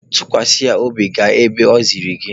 Tụkwasa ya obi ma gaa ebe o ziri gị!